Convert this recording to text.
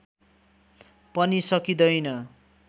पनि सकिँदैन